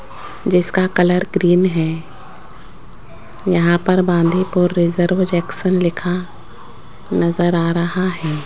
जिसका colour green है यहां पर बांधीपुर रिजर्व जेक्शन लिखा नजर आ रहा है।